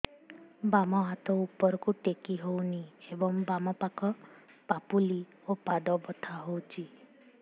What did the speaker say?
ବାମ ହାତ ଉପରକୁ ଟେକି ହଉନି ଏବଂ ବାମ ପାଖ ପାପୁଲି ଓ ପାଦ ବଥା ହଉଚି